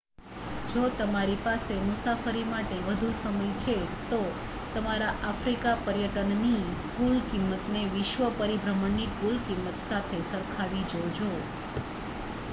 જો તમારી પાસે મુસાફરી માટે વધુ સમય છે તો તમારા આફ્રિકા પર્યટનનની કુલ કિંમતને વિશ્વ પરિભ્રમણની કુલ કિંમત સાથે સરખાવી જોજો